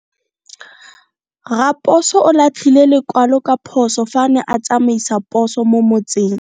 Raposo o latlhie lekwalo ka phoso fa a ne a tsamaisa poso mo motseng.